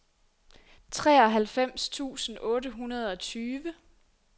treoghalvfems tusind otte hundrede og tyve